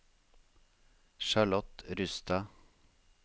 Charlotte Rustad